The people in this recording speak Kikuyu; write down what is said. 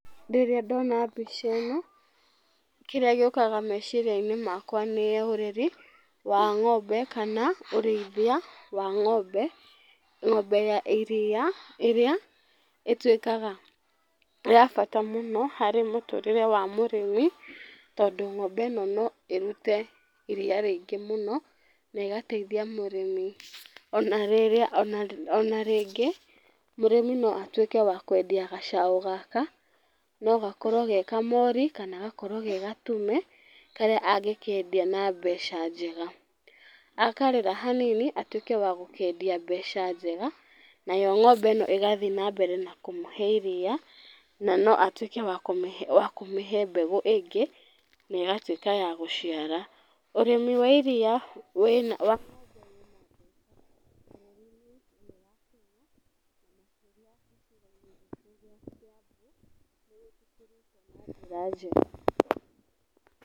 Rĩrĩa ndona mbica ĩno, kĩrĩa gĩũkaga meciria makwa nĩ ũreri wa ng'ombe kana ũrĩithia wa ng'ombe. Ng'ombe ya iria ĩrĩa ĩtuĩkaga ya bata mũno harĩ mũtũrĩre wa mũrĩmi, tondũ ng'ombe ĩno no ĩrute iria rĩingĩ mũno ona ĩgateithia mũrĩmi. Ona rĩrĩa ona rĩngĩ, mũrĩmi no atuĩke wa kwendia gacaũ gaka, no gakorwo ge kamori kana gakorwo ge gatume karĩa angĩkendia na mbeca njega. Akarera hanini atuĩke wa gũkendia mbeca njega nayo ng'ombe ĩno ĩgathiĩ na mbere na kũmahe iria, na no atuĩke wa kũmĩhe mbegũ ĩngĩ na ĩgatuĩka ya gũciara. Ũrĩmi wa iria wĩna wa na njĩra njega.